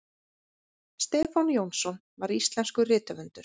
stefán jónsson var íslenskur rithöfundur